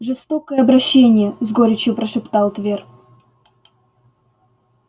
жестокое обращение с горечью прошептал твер